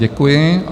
Děkuji.